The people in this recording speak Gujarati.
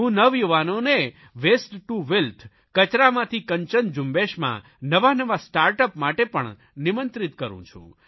હું નવયુવાનોને વેસ્ટ ટુ વેલ્થ કચરામાંથી કંચન ઝુંબેશમાં નવાનવા સ્ટાર્ટ અપ માટે પણ નિમંત્રિત કરૂં છું